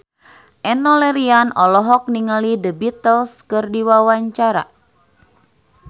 Enno Lerian olohok ningali The Beatles keur diwawancara